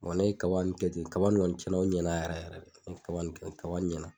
ne kaba nun kɛ ten kaba nun kɔni tiɲɛna u ɲɛna yɛrɛ yɛrɛ kaba nn k ɲɛna